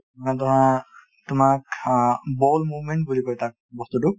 তোমাক অ bowel movement বুলি কয় তাক বস্তুটোক |